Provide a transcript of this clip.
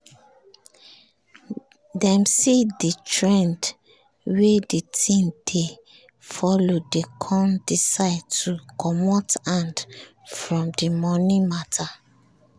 dem see the trend wey the thing dey follow dey con decide to comot hand from the money matter